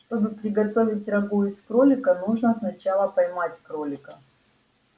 чтобы приготовить рагу из кролика нужно сначала поймать кролика